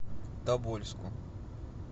тобольску